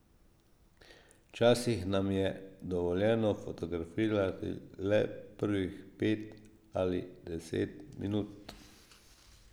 Včasih nam je dovoljeno fotografirati le prvih pet ali deset minut.